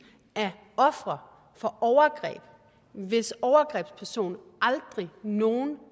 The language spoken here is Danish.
af ofre for overgreb hvis overgrebsperson aldrig nogen